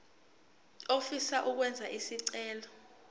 ofisa ukwenza isicelo